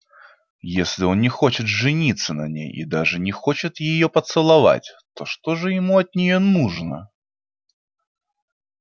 если он не хочет жениться на ней и даже не хочет её поцеловать то что же ему от неё нужно